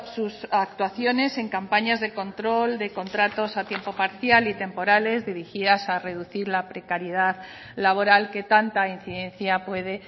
sus actuaciones en campañas de control de contratos a tiempo parcial y temporales dirigidas a reducir la precariedad laboral que tanta incidencia puede